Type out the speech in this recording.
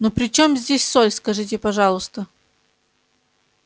ну при чем здесь соль скажите пожалуйста